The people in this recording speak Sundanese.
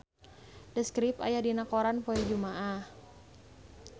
The Script aya dina koran poe Jumaah